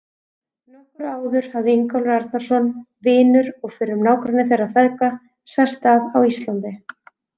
Nokkru áður hafði Ingólfur Arnarson, vinur og fyrrum nágranni þeirra feðga, sest að á Íslandi.